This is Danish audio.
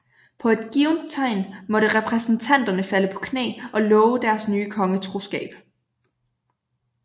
På et givet tegn måtte repræsentanterne falde på knæ og love deres nye konge troskab